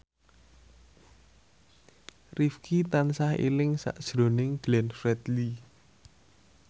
Rifqi tansah eling sakjroning Glenn Fredly